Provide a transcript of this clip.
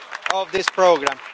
of this programme.